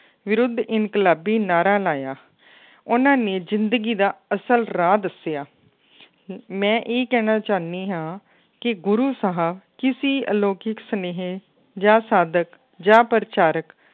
ਵਿਰੱਧ ਇਨਕਲਾਬੀ ਨਾਰਾ ਲਾਇਆ ਉਹਨਾਂ ਨੇ ਜ਼ਿੰਦਗੀ ਦਾ ਅਸਲ ਰਾਹ ਦੱਸਿਆ ਮੈਂ ਇਹ ਕਹਿਣਾ ਚਾਹੁੰਦੀ ਹਾਂ ਕਿ ਗੁਰੂ ਸਾਹਿਬ ਕਿਸੀ ਅਲੋਕਿਕ ਸੁਨੇਹੇ ਜਾਂ ਸਾਦਕ ਜਾਂ ਪ੍ਰਚਾਰਕ